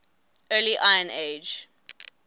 early iron age